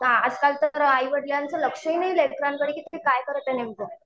हां आजकाल तर आईवडिलांचं लक्ष नाही लेकरांकडे की ते काय करत आहेत नेमकं.